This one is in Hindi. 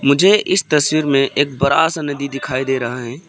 मुझे इस तस्वीर में एक बड़ा सा नदी दिखाई दे रहा है।